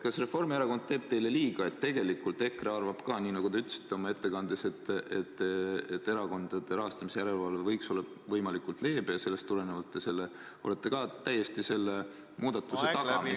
Kas Reformierakond teeb teile liiga ja tegelikult EKRE arvab ka nii, nagu te ütlesite oma ettekandes, et erakondade rahastamise järelevalve võiks olla võimalikult leebe ja sellest tulenevalt te olete ka selle muudatuse taga, mida ...